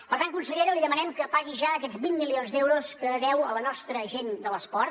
per tant consellera li demanem que pagui ja aquests vint milions d’euros que deu a la nostra gent de l’esport